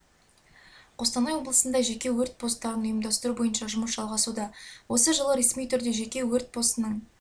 қостанай облысында жеке өрт посттарын ұйымдастыру бойынша жұмыс жалғасуда осы жылы ресми түрде жеке өрт постының